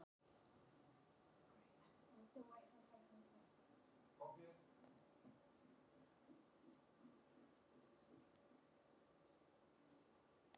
Ingibjörn, ferð þú með okkur á laugardaginn?